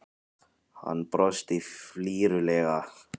Hann brosti flírulega.